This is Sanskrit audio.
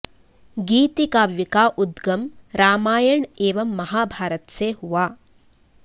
गीति काव्य का उद्गम रामायण एवं महाभारत से हुआ